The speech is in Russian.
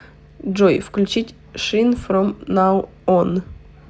джой включить шин фром нау он